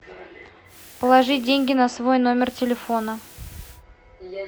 положить деньги на свой номер телефона